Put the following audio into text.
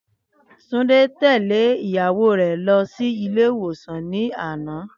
Túndé tẹ̀lẹ́ ìyàwó rè lọ sí ilé ìwòsàn ní àná